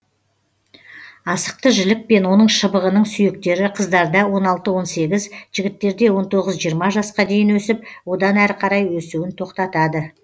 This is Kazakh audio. асықты жілік пен оның шыбығының сүйектері қыздарда он алты он сегіз жігіттерде он тоғыз жиырма жасқа дейін өсіп одан әрі қарай өсуін тоқтатады